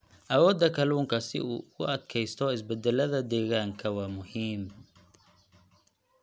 Awoodda kalluunka si uu ugu adkaysto isbeddellada deegaanka waa muhiim.